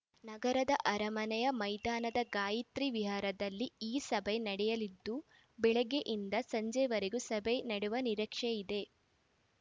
ನಗರದ ಅರಮನೆ ಮೈದಾನದ ಗಾಯತ್ರಿ ವಿಹಾರದಲ್ಲಿ ಈ ಸಭೆ ನಡೆಯಲಿದ್ದು ಬೆಳಗ್ಗೆಯಿಂದ ಸಂಜೆವರೆಗೆ ಸಭೆ ನಡೆವ ನಿರೀಕ್ಷೆಯಿದೆ